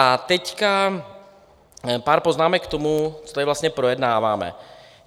A teď pár poznámek k tomu, co tady vlastně projednáváme.